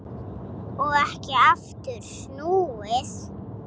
Og ekki aftur snúið.